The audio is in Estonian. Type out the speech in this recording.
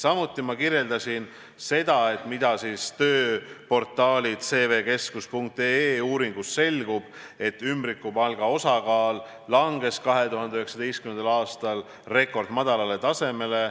Samuti ma märkisin, et tööportaali CVKeskus.ee uuringust selgub, et ümbrikupalga osakaal langes 2019. aastal rekordmadalale tasemele.